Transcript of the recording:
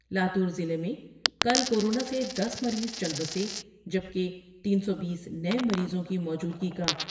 لا تو ضلع میں کل کو رونا سے دس مریض چل بسے جبکہ تین سو بیس نئے مریضوں کی موجودگی کا